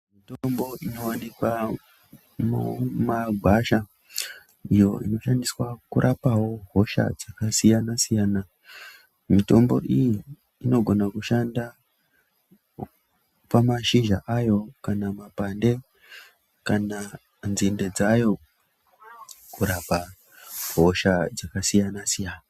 Mutombo inowanikwa mumagwasha iyoo inoshandiswa kurapa woo hosha dzakasiyan siyana mitombo iyi inogona kushanda pamashizha ayo kana mapande kana nzinde dzayo kurapa hosha dzakasiyana siyana.